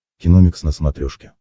киномикс на смотрешке